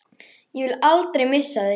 Ég vil aldrei missa þig.